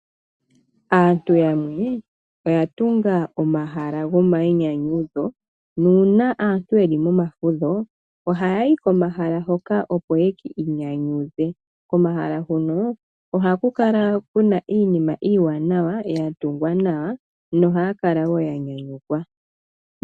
Aantu yamwe oya tunga omahala gomainyanyudho, nuuna aantu ye li momafudho ohaya yi komahala hoka opo ye ki inyanyudhe. Komahala huka ohaku kala ku na iinima Iiwanawa ya tungwa nawa nohaya kala wo ya nyanyukwa.